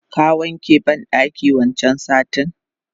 Ka wanke bandakin wancan satin?